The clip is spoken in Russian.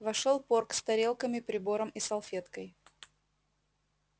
вошёл порк с тарелками прибором и салфеткой